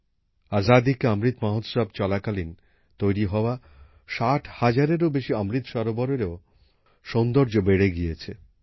আজাদী কে অমৃৎ মহোৎসব চলাকালীন তৈরি হওয়া ষাট হাজারেরও বেশি অমৃৎ সরোবরেও সৌন্দর্য বেড়ে গিয়েছে